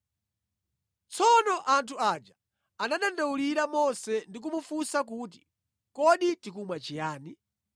Tsono anthu aja anadandaulira Mose ndi kumufunsa kuti, “Kodi tikumwa chiyani?”